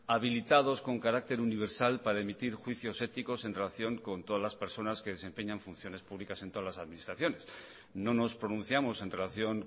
habilitados con carácter universal para emitir juicios éticos en relación con todas las personas que desempeñan funciones públicas en todas las administraciones no nos pronunciamos en relación